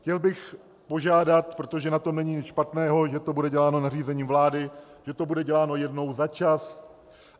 Chtěl bych požádat, protože na tom není nic špatného, že to bude děláno nařízením vlády, že to bude děláno jednou za čas.